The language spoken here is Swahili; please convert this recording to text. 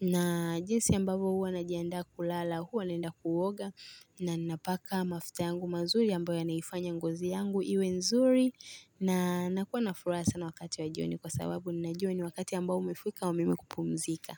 Na jinsi ambavyo huwa najiandaa kulala huwa naenda kuoga na ninapaka mafuta yangu mazuri ambayo yanaifanya ngozi yangu iwe nzuri. Na nakuwa na furaha sana wakati wa jioni kwa sababu ninajua ni wakati ambao umefika wa mimi kupumzika.